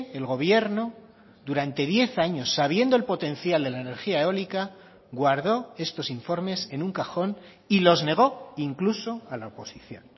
el gobierno durante diez años sabiendo el potencial de la energía eólica guardó estos informes en un cajón y los negó incluso a la oposición